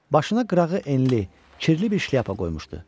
Başına qırağı enli, kirli bir şlyapa qoymuşdu.